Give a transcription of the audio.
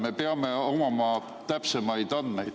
Me peame omama täpsemaid andmeid.